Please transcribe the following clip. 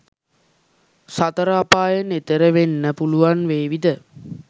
සතර අපායෙන් එතෙර වෙන්න පුළුවන් වේවිද?